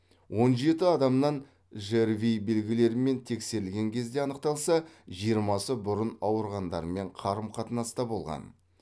он жеті адамнан жрви белгілерімен тексерілген кезде анықталса жиырмасы бұрын ауырғандармен қарым қатынаста болған